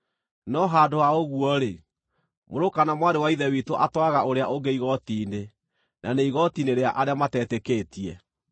No handũ ha ũguo-rĩ, mũrũ kana mwarĩ wa Ithe witũ atwaraga ũrĩa ũngĩ igooti-inĩ, na nĩ igooti-inĩ rĩa arĩa matetĩkĩtie!